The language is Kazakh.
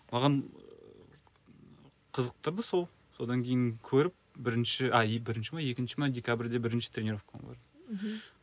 маған қызықтырды сол содан кейін көріп бірінші а и бірінші ме екінші ме декабрьде ме бірінші тренеровкаға бардым мхм